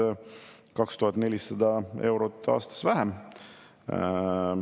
Nii et siin me oleme, üks ebapopulaarne otsus teise järel, ja loomulikult ei saa selle üle olla hea meel.